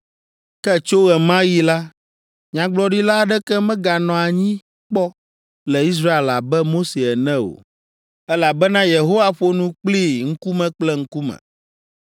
Ke tso ɣe ma ɣi la, nyagblɔɖila aɖeke meganɔ anyi kpɔ le Israel abe Mose ene o, elabena Yehowa ƒo nu kplii ŋkume kple ŋkume,